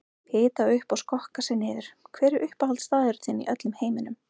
Hita upp og skokka sig niður Hver er uppáhaldsstaðurinn þinn í öllum heiminum?